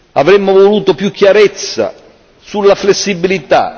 Avremmo voluto più chiarezza sulla flessibilità.